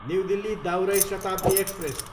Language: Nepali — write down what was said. न्यु दिल्ली, दाउरै शताब्दी एक्सप्रेस